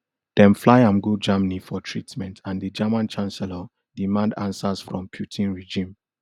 dem fly am go germany for treatment and di german chancellor demand answers from putin regime